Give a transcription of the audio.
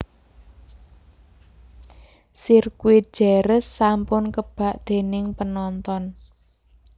Sirkuit Jerez sampun kebak dening penonton